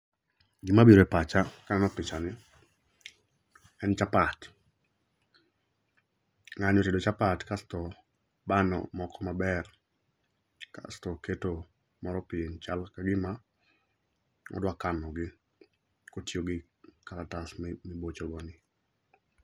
Gima biro e pacha kaneno picha ni, en chapat. Ng'ani otedo chapat kasto obano moko maber. Kasto oketo moro piny, chal kagima odwa kano gi kotiyo gi karatas mibocho go ni.